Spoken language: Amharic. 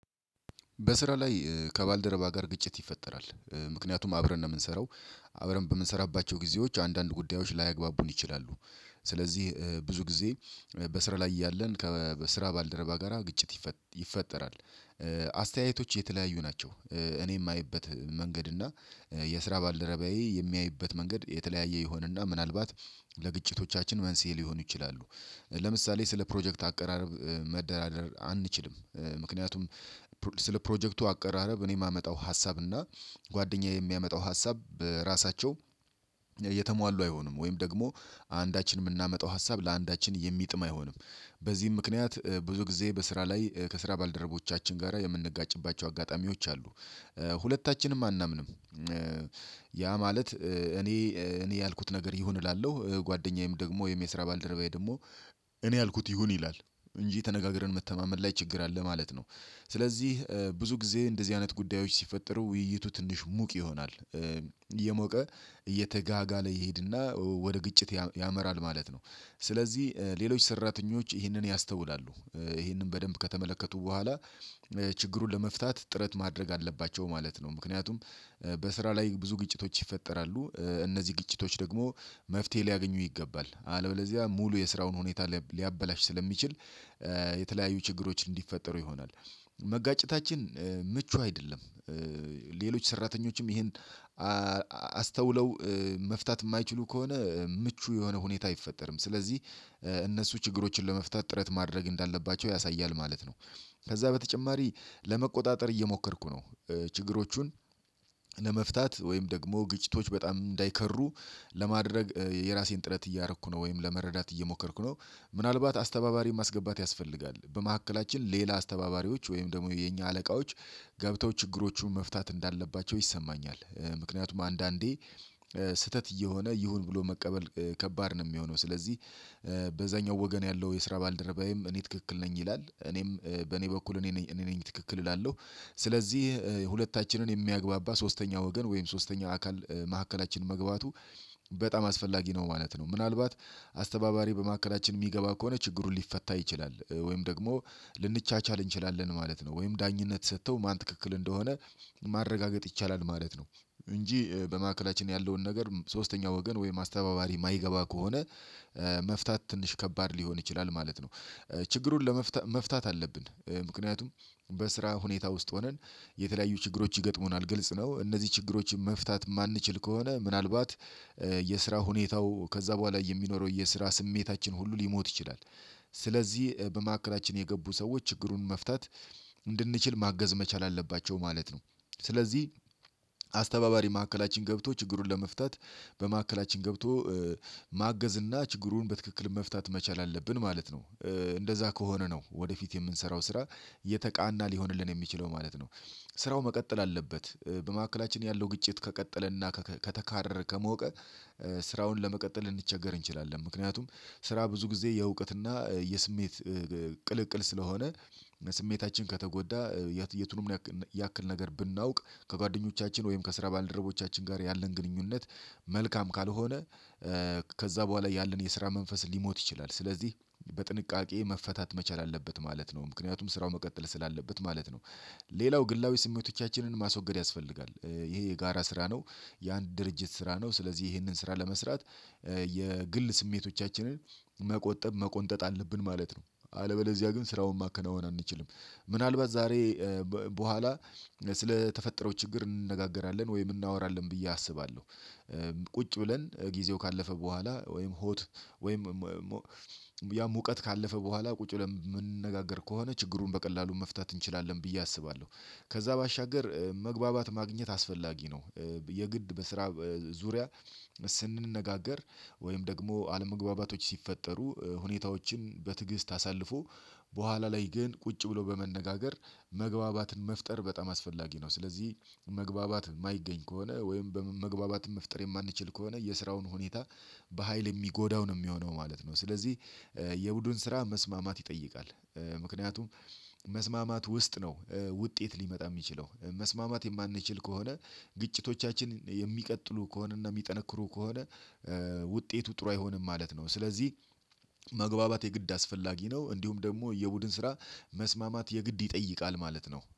በስራ ላይ ከባልደረባ ጋር ግጭት ይፈጠራል ምክንያቱም አብረን ነው የምንሰራው አብረን በምንሰራባቸው ጊዜዎች አንዳንድ ጉዳዮች ላያግባቡን ይችላሉ። ስለዚህ ብዙ ጊዜ በስራ ላይ እያለን ከስራ ባልደረባ ጋራ ግጭት ይፈጠራል። አስተያየቶች የተለያዩ ናቸው። እኔ የማይበት መንገድ እና የስራ ባልደረባዬ የሚያይበት መንገድ የተለያየ ይሆንና ምናልባት ለግጭቶቻችን መንስኤ ሊሆኑ ይችላሉ። ለምሳሌ ስለ ፕሮጀክት አቀራረብ መደራደር አንችልም። ምክንያቱም ስለ ፕሮጀክቱ አቀራረብ እኔ የማመጣው ሀሳብ እና ጓደኛዬ የሚያመጣው ሀሳብ በራሳቸው እየተሟሉ አይሆኑም ወይም ደግሞ አንዳችን የምናመጣው ሀሳብ ለአንዳችን የሚጥም አይሆንም። በዚህም ምክንያት ብዙ ጊዜ በስራ ላይ ከስራ ባልደረቦቻችን ጋራ የምንጋጭባቸው አጋጣሚዎች አሉ። ሁለታችንም አናምንም። ያ ማለት እኔ እኔ ያልኩት ነገር ይሁን እላለሁ ጓደኛዬም ደግሞ ወይም የስራ ባልደረባዬ ደግሞ እኔ ያልኩት ይሁን ይላል እንጂ ተነጋግረን መተማመን ላይ ችግር አለ ማለት ነው። ስለዚህ ብዙ ጊዜ እንደዚህ አይነት ጉዳዮች ሲፈጠሩ ውይይቱ ትንሽ ሙቅ ይሆናል። የሞቀ እየተጋጋለ ይሄድና ወደ ግጭት ያመራል ማለት ነው። ስለዚህ ሌሎች ሰራተኞች ይህንን ያስተውላሉ። ይህንን በደንብ ከተመለከቱ በኋላ ችግሩን ለመፍታት ጥረት ማድረግ አለባቸው ማለት ነው። ምክንያቱም በስራ ላይ ብዙ ግጭቶች ይፈጠራሉ እነዚህ ግጭቶች ደግሞ መፍትሄ ሊያገኙ ይገባል አለበለዚያ ሙሉ የስራውን ሁኔታ ሊያበላሽ ስለሚችል የተለያዩ ችግሮች እንዲፈጠሩ ይሆናል። መጋጨታችን ምቹ አይደለም። ሌሎች ሰራተኞችም ይሄን አስተውለው መፍታት የማይችሉ ከሆነ ምቹ የሆነ ሁኔታ አይፈጠርም። ስለዚህ እነሱ ችግሮችን ለመፍታት ጥረት ማድረግ እንዳለባቸው ያሳያል ማለት ነው። ከዛ በተጨማሪ ለመቆጣጠር እየሞከርኩ ነው። ችግሮቹን ለመፍታት ወይም ደግሞ ግጭቶች በጣም እንዳይከሩ ለማድረግ የራሴን ጥረት እያረኩ ነው ወይም ለመረዳት እየሞከርኩ ነው። ምናልባት አስተባባሪ ማስገባት ያስፈልጋል በመካከላችን ሌላ አስተባባሪዎች ወይም ደግሞ የኛ አለቃዎች ገብተው ችግሮቹን መፍታት እንዳለባቸው ይሰማኛል። ምክንያቱም አንዳንዴ ስህተት እየሆነ ይሁን ብሎ መቀበል ከባድ ነው። የሚሆነው ስለዚህ በዛኛው ወገን ያለው የስራ ባልደረባዬም እኔ ትክክል ነኝ ይላል እኔም በኔ በኩል እኔ ነኝ እኔ ነኝ ትክክል እላለሁ። ስለዚህ ሁለታችንን የሚያግባባ ሶስተኛ ወገን ወይም ሶስተኛ አካል መካከላችን መግባቱ በጣም አስፈላጊ ነው ማለት ነው። ምናልባት አስተባባሪ በመካከላችን የሚገባ ከሆነ ችግሩን ሊፈታ ይችላል ወይም ደግሞ ልንቻቻል እንችላለን ማለት ነው። ወይም ዳኝነት ሰጥተው ማን ትክክል እንደሆነ ማረጋገጥ ይቻላል ማለት ነው። እንጂ በማዕከላችን ያለውን ነገር ሶስተኛ ወገን ወይም አስተባባሪ የማይገባ ከሆነ መፍታት ትንሽ ከባድ ሊሆን ይችላል ማለት ነው። ችግሩን ለመፍታት መፍታት አለብን ምክንያቱም በስራ ሁኔታ ውስጥ ሆነን የተለያዩ ችግሮች ይገጥሙናል ግልጽ ነው። እነዚህ ችግሮችን መፍታት የማንችል ከሆነ ምናልባት የስራ ሁኔታው ከዛ በኋላ የሚኖረው የስራ ስሜታችን ሁሉ ሊሞት ይችላል። ስለዚህ በመካከላችን የገቡ ሰዎች ችግሩን መፍታት እንድንችል ማገዝ መቻል አለባቸው ማለት ነው። ስለዚህ አስተባባሪ ማዕከላችን ገብቶ ችግሩን ለመፍታት በማዕከላችን ገብቶ ማገዝ እና ችግሩን በትክክል መፍታት መቻል አለብን ማለት ነው። እንደዛ ከሆነ ነው ወደፊት የምንሰራው ስራ የተቃና ሊሆንልን የሚችለው ማለት ነው። ስራው መቀጠል አለበት በመካከላችን ያለው ግጭት ከቀጠለና ከተካረረ ከሞቀ ስራውን ለመቀጠል ልንቸገር እንችላለን። ምክንያቱም ስራ ብዙ ጊዜ የእውቀትና የስሜት ቅልቅል ስለሆነ ስሜታችን ከተጎዳ የቱንም ያክል ነገር ብናውቅ ከጓደኞቻችን ወይም ከስራ ባልድሮቦቻችን ጋር ያለን ግንኙነት መልካም ካልሆነ። ከዛ በኋላ ያለን የስራ መንፈስ ሊሞት ይችላል ስለዚህ በጥንቃቄ መፈታት መቻል አለበት ማለት ነው ምክንያቱም ስራው መቀጠል ስላለበት ማለት ነው። ሌላው ግላዊ ስሜቶቻችንን ማስወገድ ያስፈልጋል ይሄ የጋራ ስራ ነው። የአንድ ድርጅት ስራ ነው ስለዚህ ይሄንን ስራ ለመስራት የግል ስሜቶቻችንን መቆጠብ መቆንጠጥ አለብን ማለት ነው። አለበለዚያ ግን ስራውን ማከናወን አንችልም። ምናልባት ዛሬ በኋላ ስለተፈጠረው ችግር እንነጋገራለን ወይም እናወራለን ብዬ አስባለሁ። ቁጭ ብለን ጊዜው ካለፈ በኋላ ወይም ሆት ወይም ያም ሙቀት ካለፈ በኋላ ቁጭ ብለን የምንነጋገር ከሆነ ችግሩን በቀላሉ መፍታት እንችላለን ብዬ አስባለሁ። ከዛ ባሻገር መግባባት ማግኘት አስፈላጊ ነው። የግድ በስራ ዙሪያ ስንነጋገር ወይም ደግሞ አለመግባባቶች ሲፈጠሩ ሁኔታዎችን በትዕግስት አሳልፎ በኋላ ላይ ግን ቁጭ ብሎ በመነጋገር መግባባትን መፍጠር በጣም አስፈላጊ ነው። ስለዚህ መግባባት የማይገኝ ከሆነ ወይም መግባባትን መፍጠር የማንችል ከሆነ የስራውን ሁኔታ በሃይል የሚጎዳው ነው የሚሆነው ማለት ነው። ስለዚህ የቡድን ስራ መስማማት ይጠይቃል። ምክንያቱም መስማማት ውስጥ ነው ውጤት ሊመጣ የሚችለው መስማማት የማንችል ከሆነ ግጭቶቻችን የሚቀጥሉ ከሆነ እና የሚጠነክሩ ከሆነ ውጤቱ ጥሩ አይሆንም ማለት ነው። ስለዚህ መግባባት የግድ አስፈላጊ ነው። እንዲሁም ደግሞ የቡድን ስራ መስማማት የግድ ይጠይቃል ማለት ነው